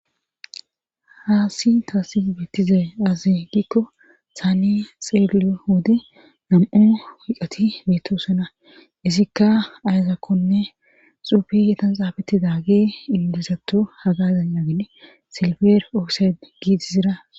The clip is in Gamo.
Haasi taasi bittize azi giikko thaane xeeli hodi nam'u wiiqati mitosena isikka ayzakkonne xuufi yetan saabettida ge indisattu hagazan yaagide silfer oose giitizira.